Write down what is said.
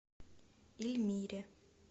ильмире